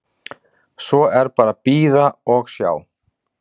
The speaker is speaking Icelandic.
Svo er bara að bíða og sjá.